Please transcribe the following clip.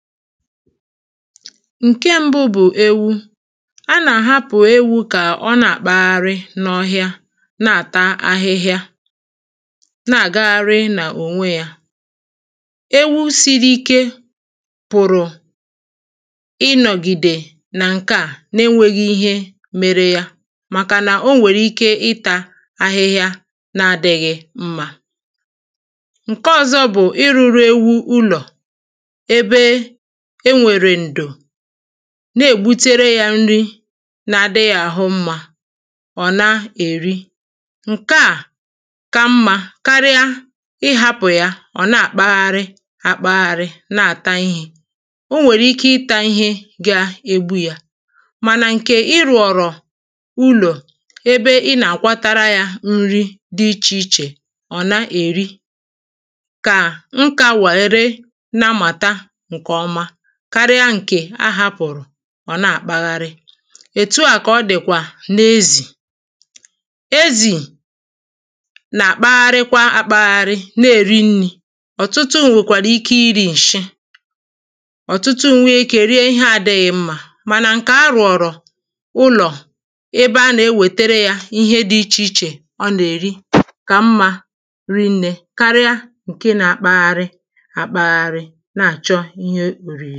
Ǹkẹ mbụ bụ̀ ewu A nà-àhapụ̀ ewū kà ọ na-àkpagharị n’ọhịa na-àta ahịhịa, na-àgagharị n’ònwe yā Ewu siri ike pụ̀rụ̀ ịnọ̀gìdè nà ǹkeà na enwēghī ihe mere ya màkà nà onwèrè ike itā ahịhịa na adị̄ghị̄ mma Ǹke ọ̀zọ bù ịrụ̄rụ̄ ewu ụlọ̀ ebe enwèrè ǹdò na-ègbutere yā n̄rī na-adị yā ahụ mmā ò na-èri Ǹkeà ka mmā karịa ịhāpụ̀ ya ọ̀ na-àkpagharị akpagharị na-àta ihē O nwèrè ike ịtā ihe ga-egbu yā Mànà ǹkè ị rùọ̀rọ̀ ulò ebe ị nà-àkwatara ya nri dí ichè ichè ọ̀ na-èri kà m kà weere na-amàta ǹkèọma karịa ǹkè a hapụ̀rụ̀ ọ nà-àkpagharị Ètu à kà o dị̀kwà n’ezì Ezì nà-àkpagharịkwa akpagharị na-erì nrī Ọ̀tụtụ nwèkwàrà ike irī ǹshị, ọ̀tụtụ nwēē ikē rie ihe na-adị̄ghị̀ mmā Mànà ǹkè arụ̀ọ̀rọ̀ ụlọ̀ ebe a nà-ewètere yā ihe dị ichè ichè ọ nà-èri kà mmā ri nnē karịa ǹke na-akpagharị akpagharị na-àchọ ihe ò rìrì